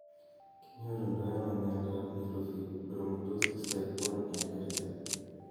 Kinyorundoi ano miondo ap neurofibromatosis type 1 inherited?